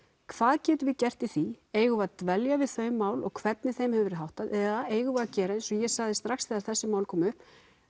hvað getum við gert í því eigum við að dvelja við þau mál og hvernig þeim hefur verið háttað eða eigum við að gera eins og ég sagði strax þegar þessi mál komu upp